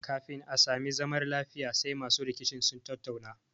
Kafin a sami zamar lafiya sai masu rikicin sun tattauna